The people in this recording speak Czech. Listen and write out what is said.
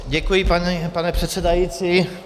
Děkuji, pane předsedající.